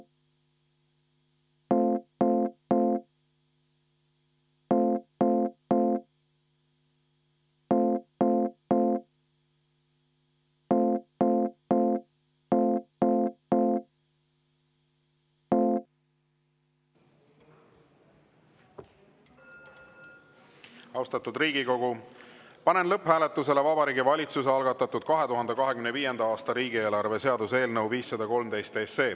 Austatud Riigikogu, panen lõpphääletusele Vabariigi Valitsuse algatatud 2025. aasta riigieelarve seaduse eelnõu 513.